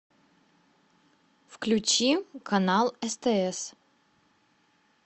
включи канал стс